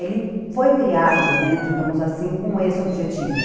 Ele foi criado, né, digamos assim, com esse objetivo.